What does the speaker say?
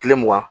Kile mugan